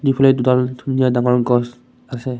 দুফালে দুডাল ধুনীয়া ডাঙৰ গছ আছে।